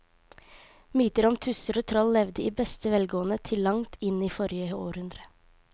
Mytene om tusser og troll levde i beste velgående til langt inn i forrige århundre.